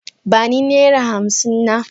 Ba ni naira hamsin na.